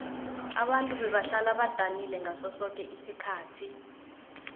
ababntu bebahlala badanile ngaso soke isikhathi